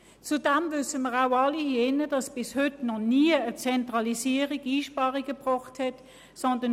Zudem wissen wir alle, dass noch nie Einsparungen durch eine Zentralisierung erreicht wurden.